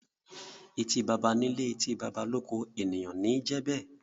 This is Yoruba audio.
Eti bàbà ní ilé, etí bàbà l’oko; ènìyàn ní i jẹ be.